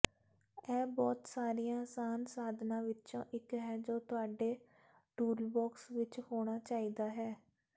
ਇਹ ਬਹੁਤ ਸਾਰੀਆਂ ਅਸਾਨ ਸਾਧਨਾਂ ਵਿੱਚੋਂ ਇੱਕ ਹੈ ਜੋ ਤੁਹਾਡੇ ਟੂਲਬੌਕਸ ਵਿੱਚ ਹੋਣਾ ਚਾਹੀਦਾ ਹੈ